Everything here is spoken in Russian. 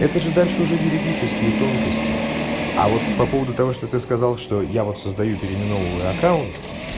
это же дальше уже юридические тонкости а вот по поводу того что ты сказал что я вот создаю переименованы аккаунт